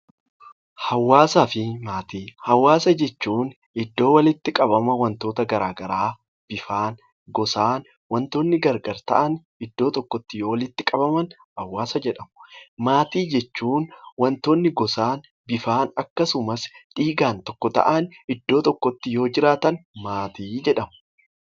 Hawaasa fi maatii. Hawaasa jechuun iddoo walitti qabama waantota garaagaraa , bifaan, gosaan waantonni garaagar ta'an iddoo tokkotti yeroo walitti qabaman hawaasa jedhamu. Maatii jechuun waantonni gosaan, bifaan akkasumas dhiigaan tokko ta'an iddoo tokkotti yoo dhihaatan maatii jedhamu.